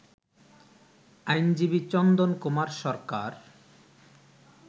আইনজীবী চন্দন কুমার সরকার